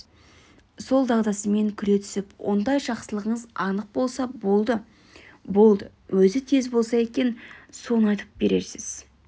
сол дағдысымен күле түсіп ондай жақсылығыңыз анық болса болды-болды өзі тез болса екен соны айтып бересіз